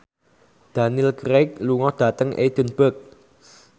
Daniel Craig lunga dhateng Edinburgh